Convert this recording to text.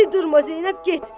De, durma, Zeynəb, get!